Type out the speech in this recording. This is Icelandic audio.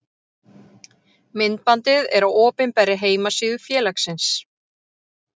Myndbandið er á opinberri heimasíðu félagsins.